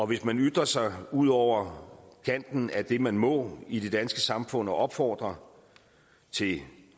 hvis man ytrer sig ud over kanten af det man må i det danske samfund og opfordrer til